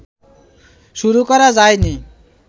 শুরু করা যায় নি